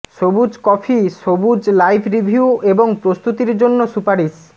সবুজ কফি সবুজ life review এবং প্রস্তুতির জন্য সুপারিশ